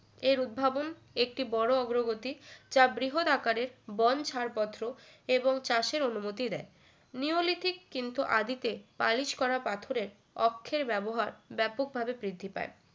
এর উদ্ভাবন একটি বড় অগ্রগতি যা বৃহদাকারের বন ছাড়পত্র এবং চাষের অনুমতি দেয় নিওলিথিক কিন্তু আদিতে পালিশ করা পাথরের অক্ষের ব্যবহার ব্যাপকভাবে বৃদ্ধি পায়